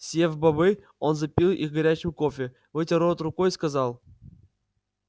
съев бобы он запил их горячим кофе вытер рот рукой и сказал